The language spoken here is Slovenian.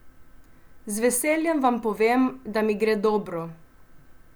Z veseljem vam povem, da mi gre dobro.